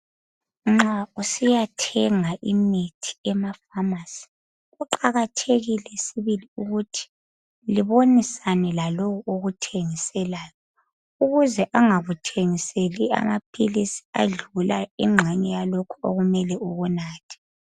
Nxa usiyathenga imithi emafamasi kuqakathekile sibili ukuthi libonisane laloyo okuthengiselayo ukuze angakuthengiseli amaphilisi adlula ingxenye yalokhu okumele ukunathe.